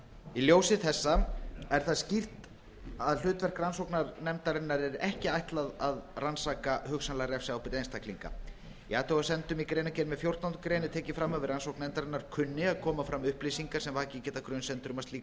í ljósi þessa er það skýrt að hlutverk rannsóknarnefndarinnar er ekki ætlað að rannsaka hugsanlega refsiábyrgð einstaklinga í athugasemdum í greinargerð með fjórtándu grein er tekið fram að við rannsókn nefndarinnar kunni að koma fram upplýsingar sem vakið geta grunsemdir um að slíkt